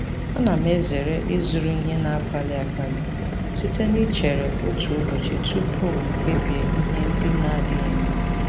Ana m ezere ịzụrụ ihe na-akpali akpali site na ichere otu ụbọchị tupu m kpebie ihe ndị na-adịghị mkpa.